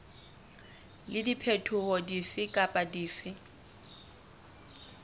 le diphetoho dife kapa dife